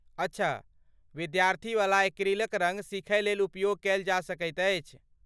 अच्छा, विद्यार्थीवला एक्रिलिक रङ्ग सीखयलेल उपयोग कयल जा सकैत अछि।